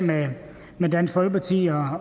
med dansk folkeparti og